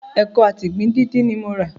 Ẹkọ àti ìgbín díndín ni mo rà.